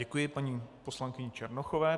Děkuji paní poslankyni Černochové.